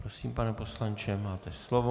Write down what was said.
Prosím, pane poslanče, máte slovo.